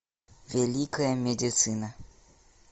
великая медицина